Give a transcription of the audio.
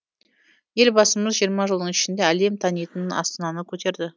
елбасымыз жиырма жылдың ішінде әлем танитын астананы көтерді